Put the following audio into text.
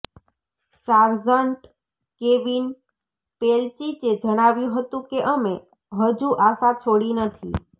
sergeant Kevin પેલચિચે જણાવ્યું હતું કે અમે હજુ આશા છોડી નથી